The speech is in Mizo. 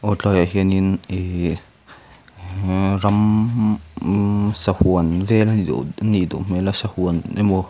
he tlaiah hianin ih ra-ramm sahuan vel a nih duh hmel a sahuan emaw--